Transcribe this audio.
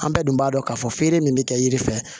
An bɛɛ dun b'a dɔn k'a fɔ feere min bɛ kɛ yiri fɛ